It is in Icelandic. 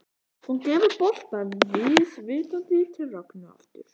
Hún gefur boltann vísvitandi til Rögnu aftur.